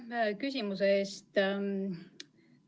Aitäh küsimuse eest!